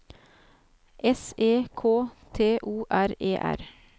S E K T O R E R